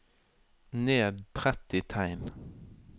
Ned tretti tegn